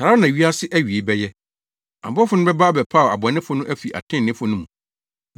Saa ara na wiase awiei bɛyɛ. Abɔfo no bɛba abɛpaw abɔnefo no afi atreneefo no mu,